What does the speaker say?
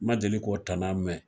Ma deli k'o tana mɛn.